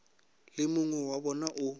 le mongwe wa bona o